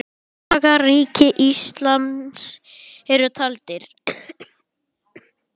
Dagar Ríkis íslams eru taldir.